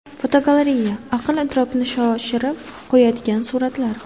Fotogalereya: Aql-idrokni shoshirib qo‘yadigan suratlar.